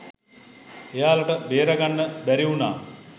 එයාලට බේරගන්න බැරි උනා..